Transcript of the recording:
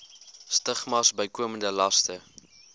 stigmas bykomende laste